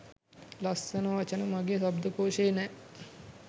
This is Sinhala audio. ලස්සනවචන මගේ ශබ්ධකෝෂයේ නෑ